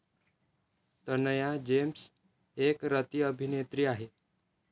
Tanaya James एक रतिअभिनेत्री आहे.